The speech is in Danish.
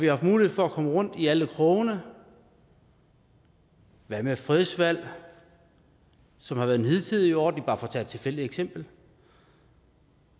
haft mulighed for at komme rundt i alle krogene hvad med fredsvalg som har været den hidtidige ordning bare for at tage et tilfældigt eksempel